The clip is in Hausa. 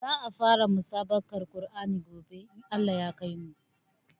Za a fara musabaƙar Qur'ani gobe in Allah ya kaimu